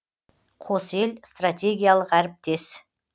қос ел стратегиялық әріптес